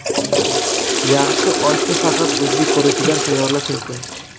Yaxshi oshni faqat o‘zbek guruchidan tayyorlash mumkin.